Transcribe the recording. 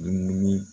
Dumuni